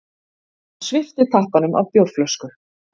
Hann svipti tappanum af bjórflösku.